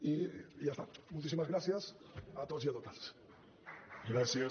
i ja està moltíssimes gràcies a tots i a totes